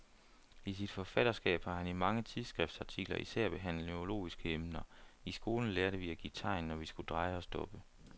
I sit forfatterskab har han i mange tidsskriftartikler især behandlet neurologiske emner. I skolen lærte vi at give tegn, når vi skulle dreje og stoppe.